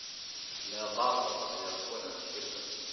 Meeqa qof ayaa ku cunay shirka?